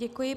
Děkuji.